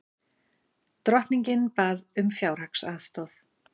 Drottningin bað um fjárhagsaðstoð